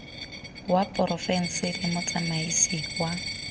wa porofense le motsamaisi wa